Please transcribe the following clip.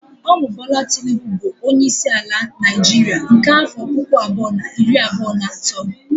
Ọ bụ Bola Tinubu bụ onyeisi ala Naịjiria nke afọ puku abụọ na iri abụọ na atọ